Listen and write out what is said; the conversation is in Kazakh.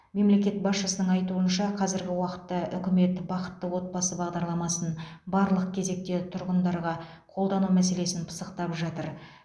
мемлекет басшысының айтуынша қазіргі уақытта үкімет бақытты отбасы бағдарламасын барлық кезекте тұрғындарға қолдану мәселесін пысықтап жатыр